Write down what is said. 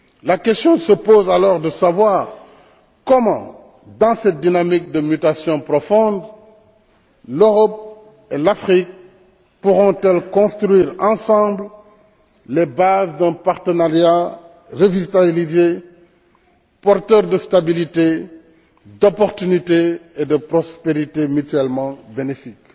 La question se pose alors de savoir comment, dans cette dynamique de mutation profonde, l'Europe et l'Afrique pourront elles construire ensemble les bases d'un partenariat revitalisé, porteur de stabilité, d'opportunité et de prospérité mutuellement bénéfique.